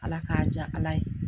Ala k'a diya Ala ye.